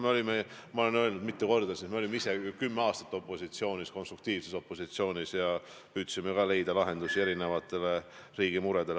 Ma olen siin mitu korda öelnud: me olime ise kümme aastat opositsioonis, konstruktiivses opositsioonis, ja püüdsime leida lahendusi erinevatele riigi muredele.